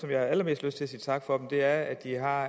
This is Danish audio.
jeg har allermest lyst til at sige tak for er at de har